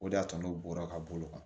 O de y'a to n'u bɔra ka bolo kan